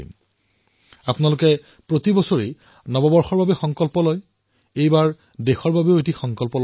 ইয়াৰ ভাৰতীয় বিকল্পসমূহ সন্ধান কৰক আৰু নিশ্চিত কৰক যে আগলৈ ভাৰতত নিৰ্মিত ভাৰতৰ জনসাধাৰণৰ পৰিশ্ৰম তথা ঘামেৰে উৎপাদিত সামগ্ৰীসমূহ আমি ব্যৱহাৰ কৰিম